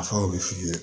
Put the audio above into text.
A fɛnw bɛ f'i ye